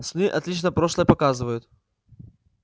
сны отлично прошлое показывают